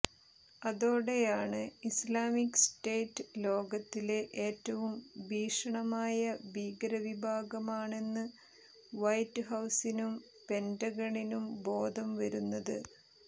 അതോടെയാണ് Islamic state ലോകത്തിലെ ഏറ്റവും ഭീഷണമായ ഭീകരവിഭാഗമാണെന്ന് വൈറ്റ് ഹൌസിനും പെന്റഗണിനും ബോധം വരുന്നത്